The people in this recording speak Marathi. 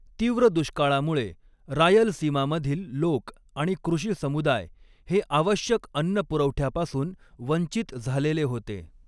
तीव्र दुष्काळामुळे, रायलसीमामधील लोक आणि कृषी समुदाय हे आवश्यक अन्न पुरवठ्यापासून वंचित झालेले होते.